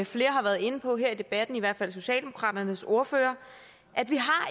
flere har været inde på her i debatten i hvert fald socialdemokraternes ordfører at vi